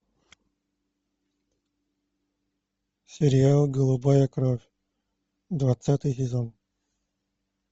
сериал голубая кровь двадцатый сезон